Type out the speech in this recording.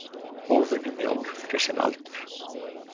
Óvenju mjór fyrir sinn aldur.